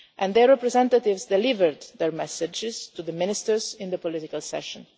Their representatives delivered their messages to the ministers in the political